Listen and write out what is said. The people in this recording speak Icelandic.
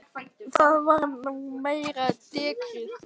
Það var nú meira dekrið.